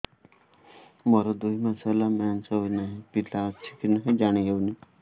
ମୋର ଦୁଇ ମାସ ହେଲା ମେନ୍ସେସ ହୋଇ ନାହିଁ ପିଲା ଅଛି କି ନାହିଁ ଜାଣି ହେଉନି